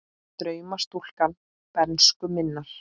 Drauma stúlka bernsku minnar.